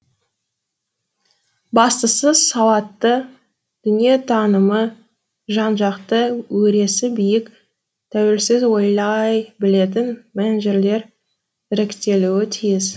бастысы сауатты дүниетанымы жан жақты өресі биік тәуелсіз ойлай білетін менеджерлер іріктелуі тиіс